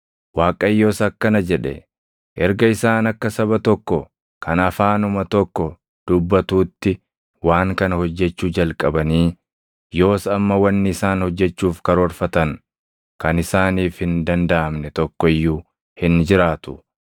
Waaqayyos akkana jedhe; “Erga isaan akka saba tokko kan afaanuma tokko dubbatuutti waan kana hojjechuu jalqabanii, yoos amma wanni isaan hojjechuuf karoorfatan kan isaaniif hin dandaʼamne tokko iyyuu hin jiraatu.